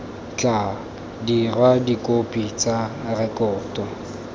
tla dirwa dikhopi tsa rekoto